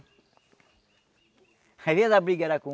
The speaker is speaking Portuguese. Às vezes a primeira briga era com